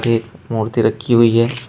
एक मूर्ति रखी हुई है।